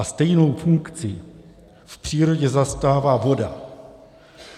A stejnou funkci v přírodě zastává voda.